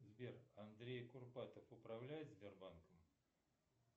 сбер андрей курпатов управляет сбербанком